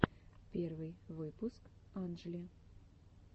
первый выпуск анджли